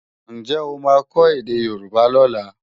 Ǹjẹ́ ó máa kọ́ èdè Yorùbá lọ́la?